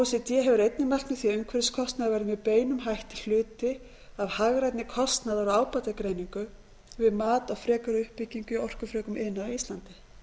c d hefur einnig mælt með því að umhverfiskostnaður verði með beinum hætti hluti af hagrænni kostnaðar og ábatagreiningu við mat á frekari uppbyggingu í orkufrekum iðnaði á íslandi